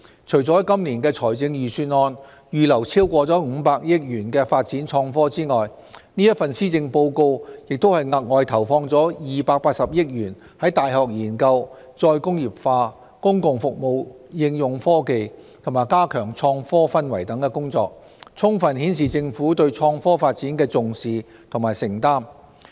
除了在今年的預算案預留超過500億元發展創科外，這份施政報告亦額外投放280億元在大學研究、再工業化、公共服務應用科技和加強創科氛圍等工作，充分顯示政府對創科發展的重視和承擔。